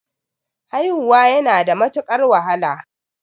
Haihuwa yana da matuqar wahala